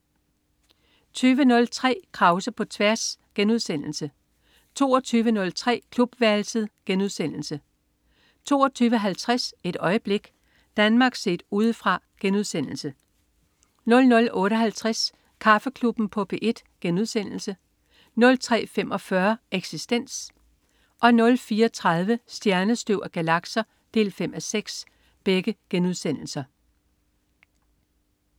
20.03 Krause på tværs* 22.03 Klubværelset* 22.50 Et øjeblik. Danmark set Udefra* 00.58 Kaffeklubben på P1* 03.45 Eksistens* 04.30 Stjernestøv og galakser 5:6*